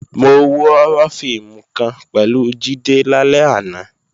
Mo wo họ́rọ́ fíìmù kan pẹ̀lú Jídé lálẹ́ àná